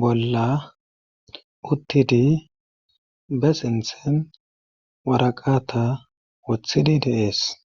bolla uttidi be sinthen waraqata wothidi deees.